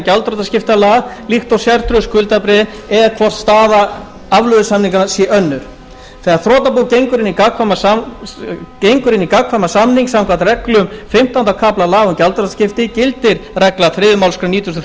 gjaldþrotaskiptalaga líkt og sértryggðu skuldabréfin eða hvort staða afleiðusamninganna sé önnur þegar þrotabú gengur inn í gagnkvæman samning samkvæmt reglum fimmtánda kafla laga um gjaldþrotaskipti gildir regla þriðju málsgrein nítugasta og